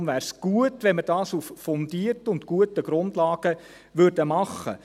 Darum wäre es gut, wenn wir dies auf fundierten und guten Grundlagen machen würden.